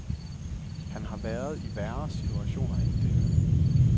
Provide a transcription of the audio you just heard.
Han har været i værre situationer end denne.